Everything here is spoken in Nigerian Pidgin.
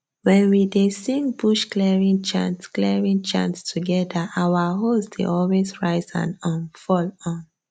wen we dey sing bush clearing chant clearing chant together our hoes dey always rise and um fall um